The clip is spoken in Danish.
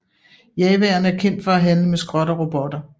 Jawaerne er kendt for at handle med skrot og robotter